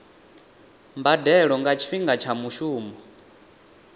mbadelo nga tshifhinga tsha mushumo